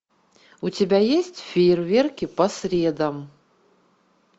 у тебя есть фейерверки по средам